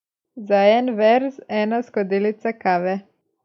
Za en verz ena skodelica kave.